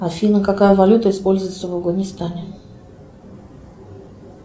афина какая валюта используется в афганистане